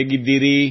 ಹೇಗಿದ್ದೀರಿ